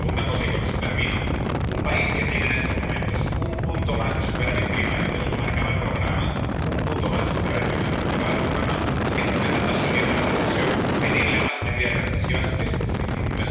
Y la segunda cosa, y con esto termino a un país que tiene en estos momentos un punto más de superávit primario de lo que marcaba el programa —un punto más de superávit primario de lo que marcaba el programa—, y que está empezando a salir de la recesión, pedirle más medidas recesivas es un suicidio.